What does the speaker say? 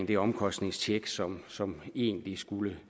det omkostningstjek som som egentlig skulle